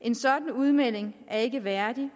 en sådan udmelding er ikke værdig